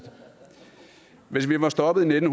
hvis vi var stoppet i nitten